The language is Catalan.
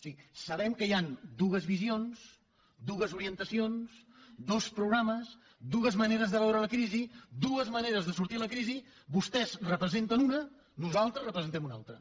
sí sabem que hi han dues visions dues orientacions dos programes dues maneres de veure la crisi dues maneres de sortir de la crisi vostès en representen una nosaltres en representem una altra